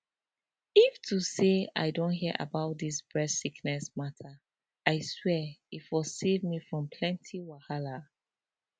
if to say i don hear about dis breast sickness mata i swear e for save me from plenty wahala